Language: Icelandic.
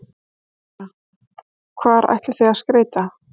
Þóra: Hvar ætlið þið að skreyta?